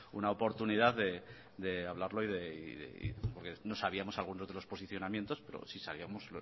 una oportunidad de hablarlo porque no sabíamos algunos de los posicionamientos pero si sabíamos